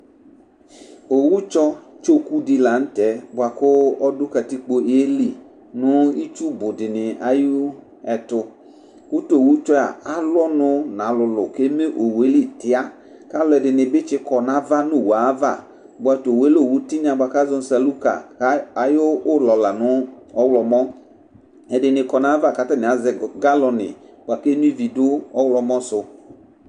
owu tsɔ tsoku di lantɛ bua ku ɔdu katikpo eli nu itsu bu dini ayu ɛtu ku tu owu tsɔ alu ɔnu nu alulu ku eme tiaka alu dini bi kɔ nu owue ava bua tu owue lɛ owu tiŋa ka ʒɔ nu saluka ku ayu lɔ lɛ ɔɣlɔmɔ edini kɔ nu ayava ku aʒɛ galɔni ɔɣlɔmɔ su